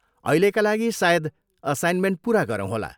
अहिलेका लागि, सायद असाइनमेन्ट पुरा गरौँ होला।